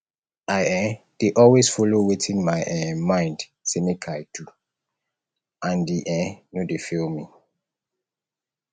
i um dey always follow wetin my um mind sey make i do and e um no dey fail me